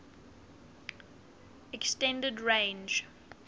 s extended range